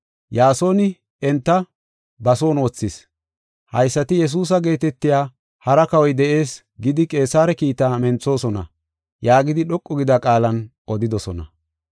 Yaasoni enta ba son wothis. Haysati, ‘Yesuusa geetetiya hara kawoy de7ees’ gidi Qeesare kiitaa menthosona” yaagidi dhoqu gida qaalan odidosona.